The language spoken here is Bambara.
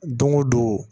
Don o don